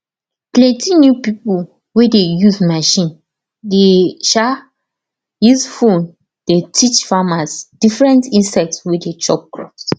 plenty new pipo wey dey use machine de um use phone de teach farmers different insect wey dey chop crops